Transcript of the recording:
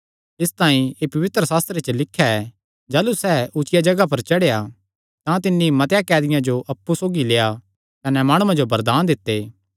इसतांई एह़ पवित्रशास्त्रे च लिख्या ऐ जाह़लू सैह़ ऊचिया जगाह पर चढ़ेया तां तिन्नी मतेआं कैदियां जो अप्पु सौगी लेआ कने माणुआं जो वरदान दित्ते